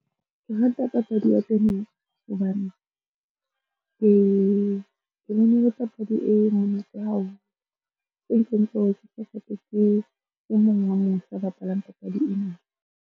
Ke rata papadi ya tenese hobane, ke bone e le papadi e monate haholo. E nkentseng hore ke qetetse ke e mong wa mose a bapalang papadi ena.